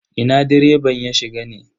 Ina direban ya shiga ne?